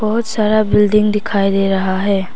बहुत सारा बिल्डिंग दिखाई दे रहा है।